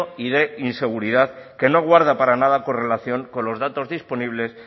y de inseguridad que no guarda para nada correlación con los datos disponibles